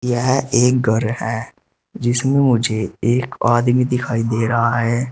यह एक घर है जिसमें मुझे एक आदमी दिखाई दे रहा है।